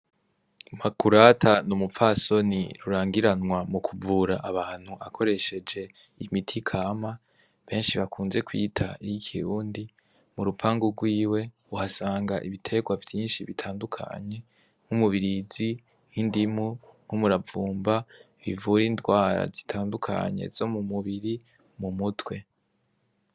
Makurata n'umupfasoni rurangiranwa mu kuvura abantu akoresheje imiti i kama benshi bakunze kwita iyo ikirundi mu rupanga rwiwe uhasanga ibiterwa vyinshi bitandukanye n'umubirizi nk'indimu nk'umuravumba bivura indwara zitandua kanye zo mu mubiri mu mutwe.